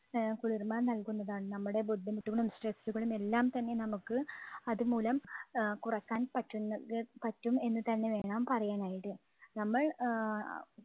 ആഹ് കുളിർമ നൽകുന്നതാണ്. നമ്മുടെ ബുദ്ധിമുട്ടുകളും stress കളും എല്ലാം തന്നെ നമുക്ക് അതുമൂലം അഹ് കുറയ്ക്കാൻ പറ്റും പറ്റും എന്നു തന്നെ വേണം പറയാനായിട്ട്. നമ്മൾ ആഹ്